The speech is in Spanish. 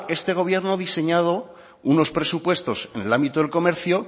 este gobierno ha diseñado unos presupuestos en el ámbito del comercio